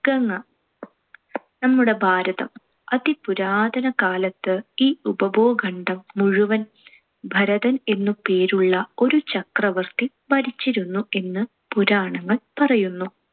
ഗംഗ. നമ്മുടെ ഭാരതം. അതിപുരാതന കാലത്ത് ഈ ഉപഭൂഖണ്ഡം മുഴുവൻ ഭരതൻ എന്നു പേരുള്ള ഒരു ചക്രവർത്തി ഭരിച്ചിരുന്നു എന്ന് പുരാണങ്ങൾ പറയുന്നു.